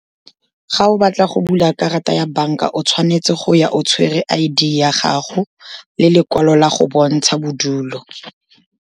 Ga o batla go bula karata ya banka, o tshwanetse go ya o tshwere I_D ya gago le lekwalo la go bontsha bodulo.